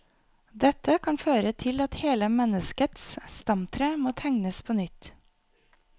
Dette kan føre til at hele menneskets stamtre må tegnes på nytt.